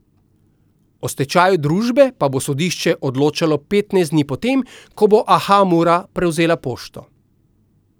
O stečaju družbe pa bo sodišče odločalo petnajst dni po tem, ko bo Aha Mura prevzela pošto.